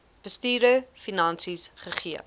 bestuurder finansies gegee